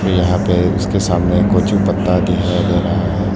यहां पे इसके सामने कुछ पत्ता दी है ले रहा है।